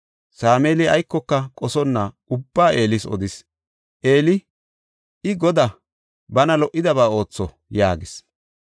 Sameeli aykoka qosonna ubbaa Eelis odis. Eeli, “I Godaa; bana lo77idaba ootho” yaagis.